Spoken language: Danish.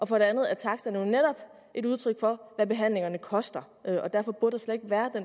for det andet er taksterne jo netop et udtryk for hvad behandlingerne koster